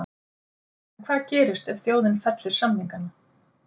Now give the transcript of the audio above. En hvað gerist ef þjóðin fellir samningana?